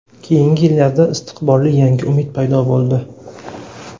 Keyingi yillarda istiqbolli yangi umid paydo bo‘ldi.